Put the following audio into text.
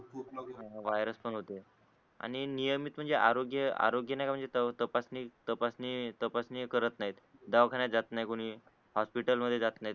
खूप लोक वायरस पण होते आणि नियमित म्हणजे आरोग्य आरोग्य म्हणजे तपासणी तपासणी तपासणी करत नाहीत दवाखान्यात जात नाही कोणी हॉस्पिटल मध्ये नाही